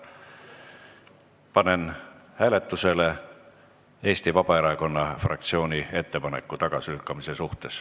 Panen hääletusele Eesti Vabaerakonna fraktsiooni ettepaneku tagasilükkamise kohta.